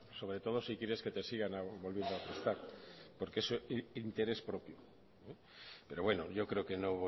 sobre todo si quieres que te sigan volviendo a prestar porque es el interés propio pero bueno yo creo que no